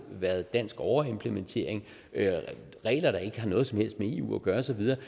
været dansk overimplementering af regler der ikke har noget som helst med eu at gøre og så videre det